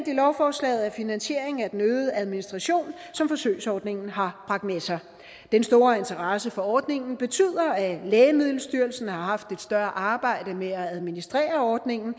i lovforslaget er finansiering af den øgede administration som forsøgsordningen har bragt med sig den store interesse for ordningen betyder at lægemiddelstyrelsen har haft et større arbejde med at administrere ordningen